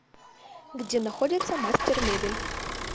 где находится мастер мебель